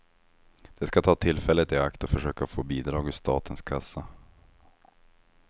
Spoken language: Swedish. De ska ta tillfället i akt och försöka få bidrag ur statens kassa.